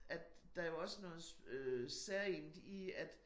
At der jo også noget øh særegent i at